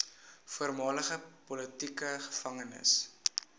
voormalige politieke gevangenes